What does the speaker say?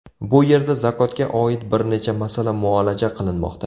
Bu yerda zakotga oid bir necha masala muolaja qilinmoqda.